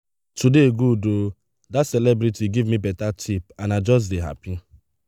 today good oo dat celebrity give me beta tip and i just dey happy.